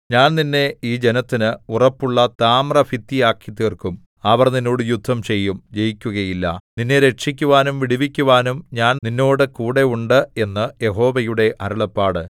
ഞാൻ നിന്നെ ഈ ജനത്തിന് ഉറപ്പുള്ള താമ്രഭിത്തിയാക്കിത്തീർക്കും അവർ നിന്നോട് യുദ്ധം ചെയ്യും ജയിക്കുകയില്ല നിന്നെ രക്ഷിക്കുവാനും വിടുവിക്കുവാനും ഞാൻ നിന്നോടുകൂടെ ഉണ്ട് എന്ന് യഹോവയുടെ അരുളപ്പാട്